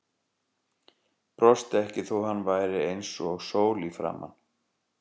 Brosti ekki þó að hann væri eins og sól í framan.